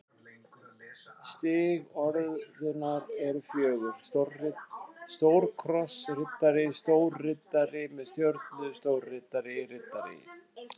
Stig orðunnar eru fjögur: stórkrossriddari stórriddari með stjörnu stórriddari riddari